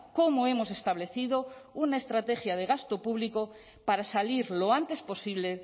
cómo hemos establecido una estrategia de gasto público para salir lo antes posible